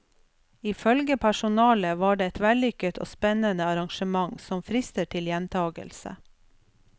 I følge personalet var det et vellykket og spennende arrangement som frister til gjentakelse.